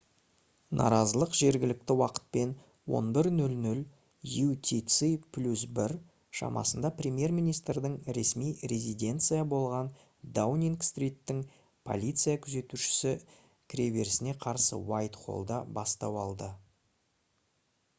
наразылық жергілікті уақытпен 11:00 utc + 1 шамасында премьер-министрдің ресми резиденция болған даунинг-стриттің полиция күзетуші кіреберісіне қарсы уайтхоллда бастау алды